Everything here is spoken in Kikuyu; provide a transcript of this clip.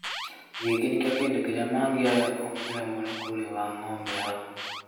gĩkĩ nikîyo kĩndũ kĩrĩa mangĩoya ũngi remwo nǐ kũrĩha ngombo yaku.